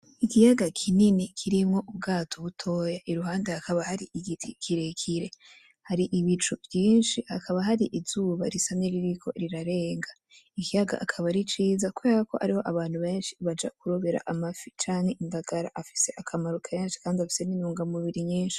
ikiyaga kinini kirimwo ubwato butoya iruhande hakaba hari igiti kirekire, hari ibicu vyinshi hakaba hari izuba risa nkiririko rirarenga. Ikiyaga kikaba ari ciza kuberako ariho abantu benshi baja kurobera amafi canke indagara afise akamaro kenshi kandi afise nintungamubiri nyinshi.